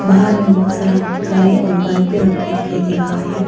बाहर में बहोत सारा गाड़ी और बाइक भी रखे दिखाई दे रहा है।